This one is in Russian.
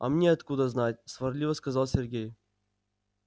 а мне откуда знать сварливо сказал сергей